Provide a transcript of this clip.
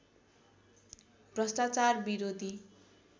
भ्रष्टाचार विरोधी